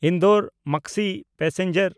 Indore Maksi passenger